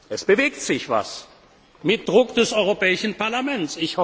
Es bewegt sich etwas mit Druck des Europäischen Parlaments.